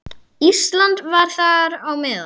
Ísland var þar á meðal.